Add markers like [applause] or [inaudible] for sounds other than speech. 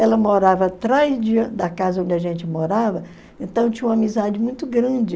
Ela morava atrás de [unintelligible] da casa onde a gente morava, então tinha uma amizade muito grande.